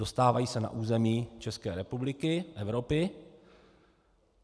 Dostávají se na území České republiky, Evropy.